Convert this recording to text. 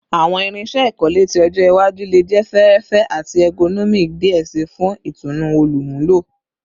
Awọn irinṣẹ ikole ti ọjọ iwaju le jẹ fẹẹrẹfẹ ati ergonomic diẹ sii fun itunu olumulo